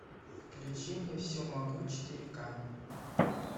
включи мне все могу четыре ка